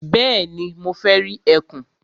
Bẹ́ẹ̀ni, mo fẹ́ rí ẹkùn.